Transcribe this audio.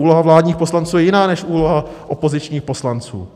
Úloha vládních poslanců je jiná než úloha opozičních poslanců.